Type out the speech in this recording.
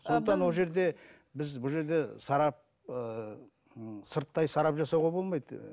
біз бұл жерде сарап ыыы сырттай сарап жасауға болмайды ыыы